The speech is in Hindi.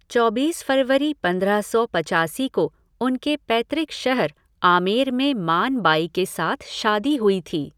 चौबीस फरवरी पंद्रह सौ पचासी को उनके पैतृक शहर आमेर में मान बाई के साथ शादी हुई थी।